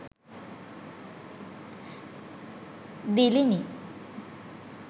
dilini